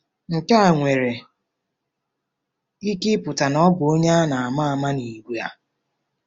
Nke a nwere ike ịpụta na ọ bụ onye a ma ama n'ìgwè a.